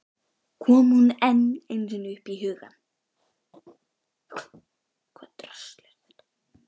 Kom hún enn einu sinni upp í hugann!